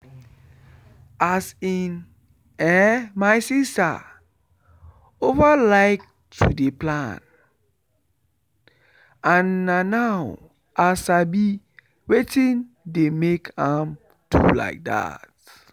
as in[um]my sister over like to dey plan and na now i sabi wetin dey make am do like that